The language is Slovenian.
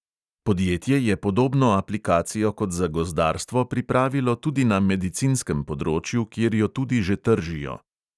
Podjetje je podobno aplikacijo kot za gozdarstvo pripravilo tudi na medicinskem področju, kjer jo tudi že tržijo.